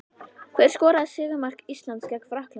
Hver skoraði sigurmark Íslands gegn Frakklandi?